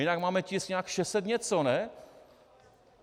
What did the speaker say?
Jinak máme tisk nějak 600 něco, ne?